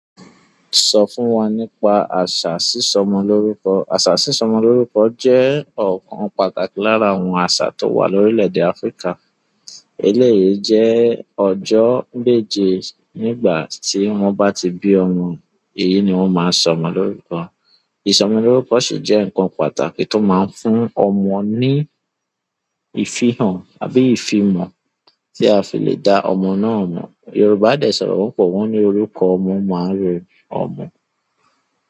Sọ fún wa nípa àṣà sísọ ọmọ lórúkọ. Àṣà sísọ ọmọ lórúkọ jẹ́ ọ̀kan pàtàkì lára àwọn àṣà tó wà lórílẹ̀ èdè Áfríkà. Eléyì jẹ́ ọjọ́ méje nígbà tí wọ́n bá ti bí ọmọ, èyí ni wọ́n máa ń sọ ọmọ lórúkọ. Ìsọmọ lórúkọ sì jẹ́ nkan pàtàkì tó máa ń fún ọmọ ní ìfihàn àbí ifimọ̀ tí a fi le dá ọmọ náà mọ̀. Yorùbá dẹ sọ̀rọ̀, wọn po wọ́n ní orúkọ ọmọ, máa ń ro ọmọ.